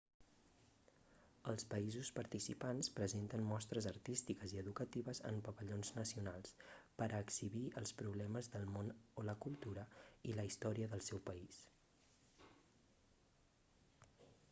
els països participants presenten mostres artístiques i educatives en pavellons nacionals per a exhibir els problemes del món o la cultura i la història del seu país